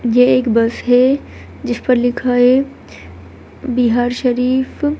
ये एक बस है जिस पर लिखा है बिहार शरीफ।